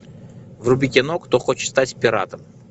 вруби кино кто хочет стать пиратом